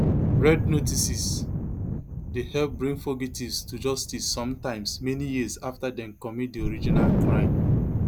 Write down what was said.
red notices dey help bring fugitives to justice sometimes many years afta dem commit di original crime